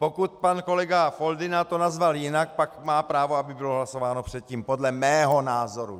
Pokud pan kolega Foldyna to nazval jinak, pak má právo, aby bylo hlasováno předtím podle mého názoru.